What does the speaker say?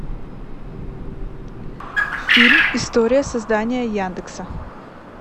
фильм история создания яндекса